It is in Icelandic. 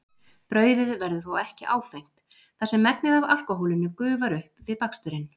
Brauðið verður þó ekki áfengt þar sem megnið af alkóhólinu gufar upp við baksturinn.